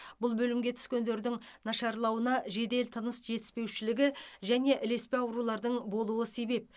бұл бөлімге түскендердің нашарлауына жедел тыныс жетіспеушілігі және ілеспе аурулардың болуы себеп